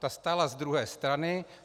Ta stála z druhé strany.